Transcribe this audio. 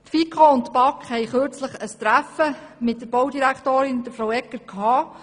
Die FiKo und die BaK haben kürzlich ein Treffen mit der Baudirektorin durchgeführt.